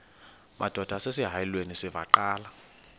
madod asesihialweni sivaqal